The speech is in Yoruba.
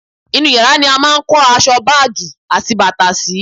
inú yàrá ni a máà ń kó aṣọ, báàgì àti bàtà sì